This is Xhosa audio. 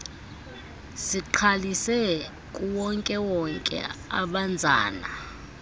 sigqalise kuwonkewonke obanzana